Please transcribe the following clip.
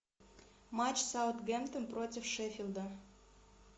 матч саутгемптон против шеффилда